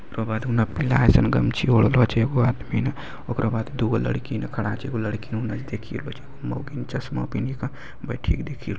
ओकर बाद अइसन गमछी ओढले छे एगो आदमी। ओकरो बाद दूगो लड़की न खड़ा छे एगो लड़की ना चश्मा पेहनी का बैठी के देखियो।